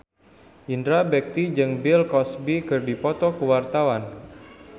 Indra Bekti jeung Bill Cosby keur dipoto ku wartawan